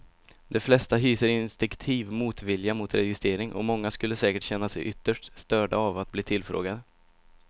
De flesta hyser instinktiv motvilja mot registrering och många skulle säkert känna sig ytterst störda av att bli tillfrågade.